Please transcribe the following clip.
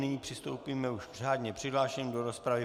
Nyní přistoupíme už k řádně přihlášeným do rozpravy.